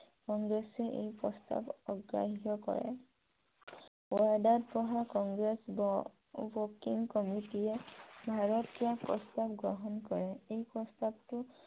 কংগ্ৰেছে এই প্ৰস্তাৱ অগ্ৰাস্ত কৰে । বৰডাত বহা কংগ্ৰেছ ৱৰ্কিং কমিটিয়ে ভাৰত ত্য়াগ প্ৰস্তাৱ গ্ৰহন কৰে । এই প্ৰস্তাৱটো